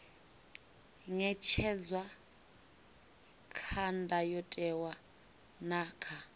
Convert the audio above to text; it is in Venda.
ṅetshedzwa kha ndayotewa na kha